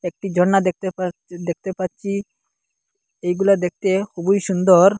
একটি ঝর্ণা দেখতে পা দেখতে পাচ্চি এগুলা দেখতে খুবই সুন্দর।